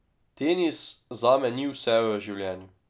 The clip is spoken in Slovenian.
Tenis zame ni vse v življenju.